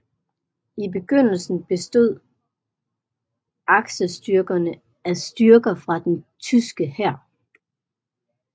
I begyndelsen bestod aksestyrkerne af styrker fra den tyske hær